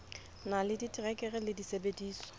na le diterekere le disebediswa